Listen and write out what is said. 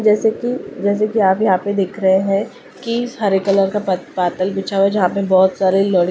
जैसे कि जैसे कि आप यहां पे देख रहे है की हरे कलर का बद बदला बिछा हुआ जहां पे बहोत सारे लड़--